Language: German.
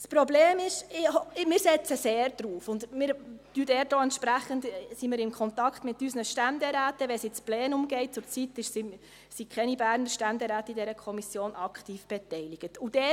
Das Problem ist – wir setzen sehr darauf und sind entsprechend auch im Kontakt mit unseren Ständeräten, wenn es dann ins Plenum geht –, dass zurzeit keine Berner Ständeräte aktiv in dieser Kommission beteiligt sind.